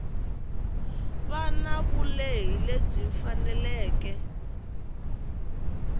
va na vulehi lebyi faneleke